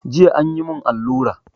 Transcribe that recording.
Jiya an yi mun alura